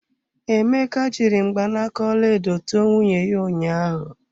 Emeka jiri mgbanaka ọlaedo tụọ nwunye ya ụnyaahụ.